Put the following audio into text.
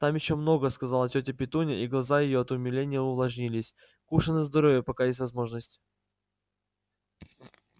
там ещё много сказала тётя петунья и глаза её от умиления увлажнились кушай на здоровье пока есть возможность